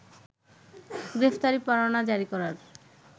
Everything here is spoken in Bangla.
গ্রেপ্তারি পরোয়না জারি করার